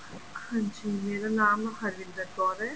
ਹਾਂਜੀ ਮੇਰਾ ਨਾਮ ਹਰਵਿੰਦਰ ਕੌਰ ਹੈ